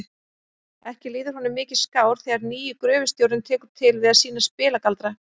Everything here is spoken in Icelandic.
Ekki líður honum mikið skár þegar nýi gröfustjórinn tekur til við að sýna spilagaldra.